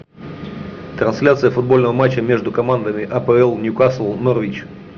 трансляция футбольного матча между командами апл ньюкасл норвич